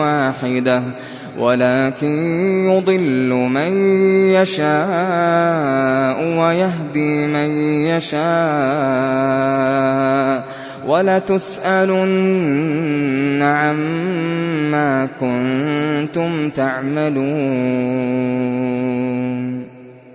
وَاحِدَةً وَلَٰكِن يُضِلُّ مَن يَشَاءُ وَيَهْدِي مَن يَشَاءُ ۚ وَلَتُسْأَلُنَّ عَمَّا كُنتُمْ تَعْمَلُونَ